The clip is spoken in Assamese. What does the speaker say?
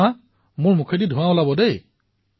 চাওক মোৰ মুখৰ পৰা ধোঁৱা উলিয়াইছো